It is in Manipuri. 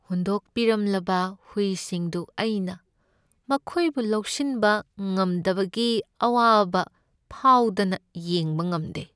ꯍꯨꯟꯗꯣꯛꯄꯤꯔꯝꯂꯕ ꯍꯨꯏꯁꯤꯡꯗꯨ ꯑꯩꯅ ꯃꯈꯣꯏꯕꯨ ꯂꯧꯁꯤꯟꯕ ꯉꯝꯗꯕꯒꯤ ꯑꯋꯥꯕ ꯐꯥꯎꯗꯅ ꯌꯦꯡꯕ ꯉꯝꯗꯦ ꯫